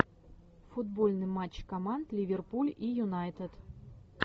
футбольный матч команд ливерпуль и юнайтед